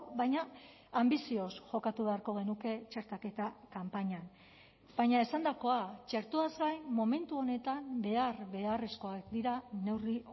baina anbizioz jokatu beharko genuke txertaketa kanpainan baina esandakoa txertoaz gain momentu honetan behar beharrezkoak dira neurri